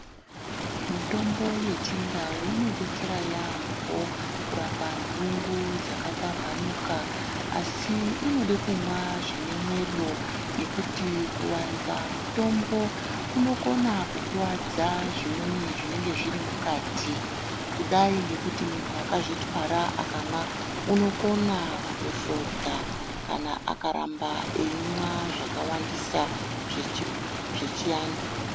Mitombo yechindau inotidetsera yaambo kurapa ndungu dzakapambanuka asi inode kunwa zvinemwero ngekuti kuwanza mitombo kunokona kukuvadza zvimweni zvinengezvirimukati kudai ngekuti munhu akazvitwara akanwa unokona kuto svodza kana akaramba eyimwa zvakawandisa zvechiantu.